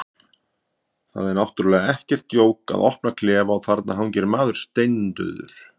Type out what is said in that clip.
Það er náttúrlega ekkert djók að opna klefa og þar hangir maður, steindauður.